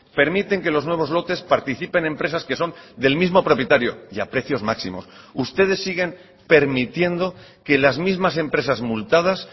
permiten que los nuevos lotes participen empresas que son del mismo propietario y a precios máximos ustedes siguen permitiendo que las mismas empresas multadas